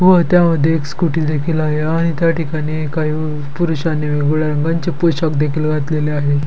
व त्यामध्ये एक स्कूटी देखील आहे आणि त्या ठिकाणी काही पुरुषांनी वेगवेगळ्या रंगांचे पोशाख देखील घातलेलं आहे.